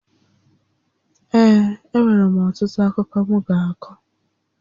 Ee, e nwèrè m ọtụtụ akụkọ m ga-akọ